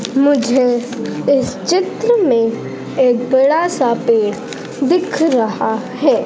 मुझे इस चित्र में एक बड़ा सा पेड़ दिख रहा है।